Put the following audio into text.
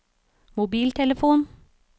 mobiltelefon